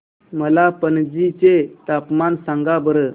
मला पणजी चे तापमान सांगा बरं